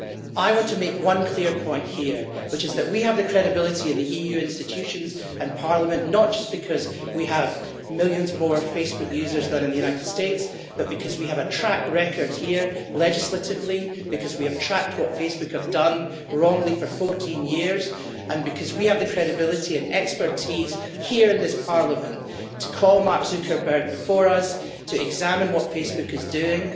I want to make one clear point here, which is that we have the credibility in the EU institutions and Parliament not just because we have millions more Facebook users than in the United States, but because we have a track record here legislatively, because we have tracked what Facebook has done wrongly for 14 years, and because we have the credibility and expertise here in this Parliament to call Mark Zuckerberg before us to examine what Facebook is doing.